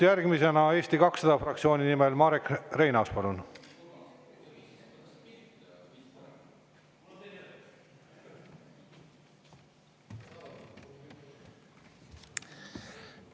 Järgmisena Eesti 200 fraktsiooni nimel Marek Reinaas, palun!